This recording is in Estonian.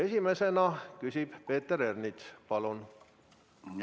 Esimesena küsib Peeter Ernits, palun!